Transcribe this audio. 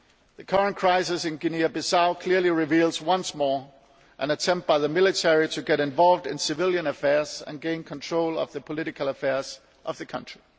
The current crisis in Guinea Bissau clearly reveals once more an attempt by the military to get involved in civilian affairs and gain control of the political affairs of the country.